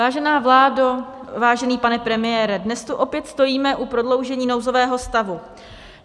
Vážená vládo, vážený pane premiére, dnes tu opět stojíme u prodloužení nouzového stavu.